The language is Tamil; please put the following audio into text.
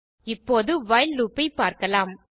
இப்போது வைல் லூப் ஐ பார்க்கலாம்